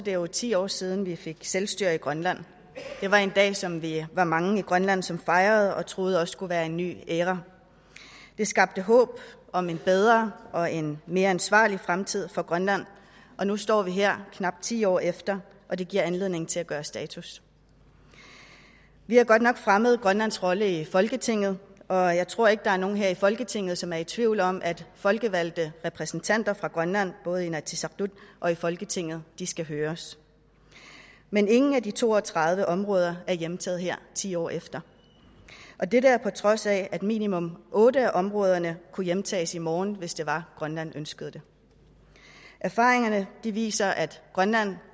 jo ti år siden vi fik selvstyre i grønland det var en dag som vi var mange i grønland som fejrede og troede også skulle være en ny æra det skabte håb om en bedre og en mere ansvarlig fremtid for grønland og nu står vi her knap ti år efter og det giver anledning til at gøre status vi har godt nok fremmet grønlands rolle i folketinget og jeg tror ikke der er nogen her i folketinget som er i tvivl om at folkevalgte repræsentanter fra grønland både i inatsisartut og i folketinget skal høres men ingen af de to og tredive områder er hjemtaget her ti år efter og dette er på trods af at minimum otte af områderne kunne hjemtages i morgen hvis det var at grønland ønskede det erfaringerne viser at grønland